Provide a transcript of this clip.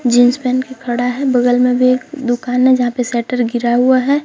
Jeans पहन के खड़ा है बगल में भी एक दुकान है जहां पे शटर गिरा हुआ है।